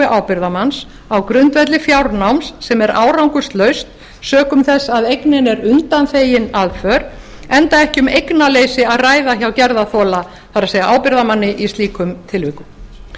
ábyrgðarmanns á grundvelli fjárnáms sem er árangurslaust sökum þess að eignin er undanþegin aðför enda ekki um eignaleysi að ræða hjá gerðarþola það er ábyrgðarmanni í slíkum tilvikum